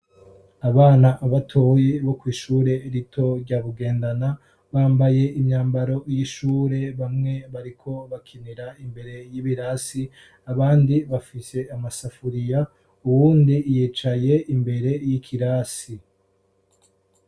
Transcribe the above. abana batoye bo kwishure rito rya bugendana bambaye imyambaro y'ishure bamwe bariko bakinira imbere y'ibirasi abandi bafishe amasafuriya uwundi yicaye imbere y'ikirasi